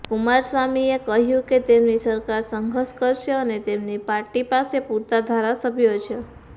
કુમારસ્વામીએ કહ્યું કે તેમની સરકાર સંઘર્ષ કરશે અને તેમની પાર્ટી પાસે પૂરતા ધારાસભ્યો છે